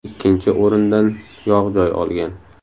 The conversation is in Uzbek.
Ikkinchi o‘rindan yog‘ joy olgan.